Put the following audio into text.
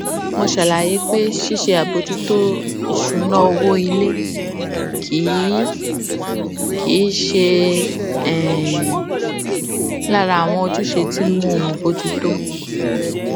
mo ṣe àlàyé pé ṣíṣe àbòjútó ìṣúná owó ilé kì í kì í ṣe um lára àwọn ojúṣe tí mò ń bójú tó